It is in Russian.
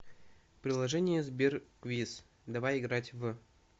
приложение сбер квиз давай играть в